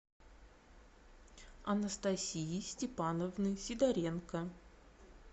анастасии степановны сидоренко